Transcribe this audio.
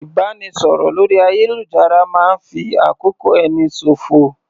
Ìbánisọ̀rọ̀ lórí ayélujára máa ń fi àkókò ẹni ṣòfò